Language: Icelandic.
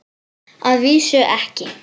Að vísu ekki.